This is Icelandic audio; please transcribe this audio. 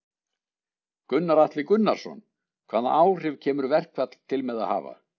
Gunnar Atli Gunnarsson: Hvaða áhrif kemur verkfall til með að hafa?